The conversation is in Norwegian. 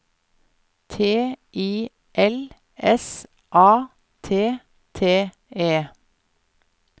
T I L S A T T E